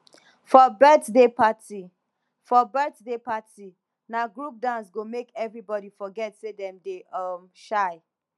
for birthday party for birthday party na group dance go make everybody forget say dem dey um shy